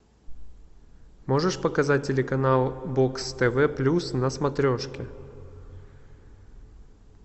можешь показать телеканал бокс тв плюс на смотрешке